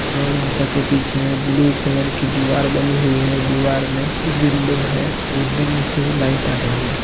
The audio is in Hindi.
गौ माता के पीछे ब्लू कलर की दिवार बनी हुई है दिवार में विंडो है विंडो में से लाइट आ रही है।